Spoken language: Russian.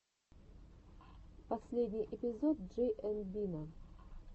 последний эпизод джей энд бина